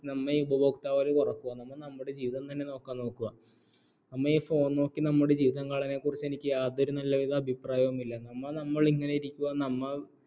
നമ്മ നമ്മുടെ phone ഉപയോഗിക്കൽ കുറയ്ക്ക നമ്മ ഇ phone നോക്കി ജീവിതം കളയണെനക്കുറിച്ചു എനിക്ക് യാതൊരുവിധ നല്ല അഭിപ്രായവുമില്ല നമ്മ നമ്മളിങ്ങനെ ഇരിക്കുവാ നമ്മെ ഉപഭോക്താവായി കുറക്കുക നമ്മ നമ്മുടെ ജീവിതം തന്നെ നോക്കാൻ നോക്കുക